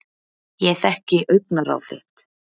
Ég þekki augnaráð þitt.